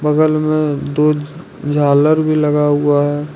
बगल में में दो झालर भी लगा हुआ है।